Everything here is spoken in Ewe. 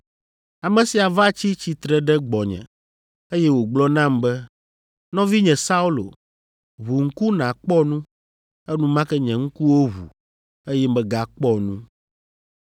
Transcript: Ame sia va tsi tsitre ɖe gbɔnye, eye wògblɔ nam be, ‘Nɔvinye Saulo, ʋu ŋku nàkpɔ nu!’ Enumake nye ŋkuwo ʋu, eye megakpɔ nu.